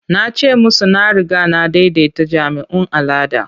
Na ce musu na riga na daidaita jami'un al'ada.